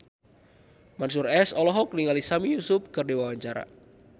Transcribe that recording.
Mansyur S olohok ningali Sami Yusuf keur diwawancara